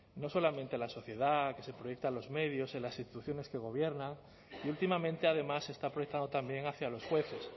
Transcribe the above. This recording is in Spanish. no solamente en la sociedad que se proyecta en los medios en las instituciones que gobiernan y últimamente además se está proyectando también hacia los jueces